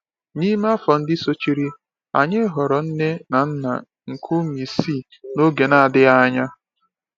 N’ime afọ ndị sochiri, anyị ghọrọ nne na nna nke ụmụ isii n’oge na-adịghị anya.